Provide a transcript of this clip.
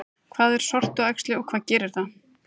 Hvað er sortuæxli og hvað gerir það?